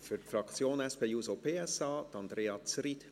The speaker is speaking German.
Für die SP-JUSO-PSA-Fraktion Andrea Zryd.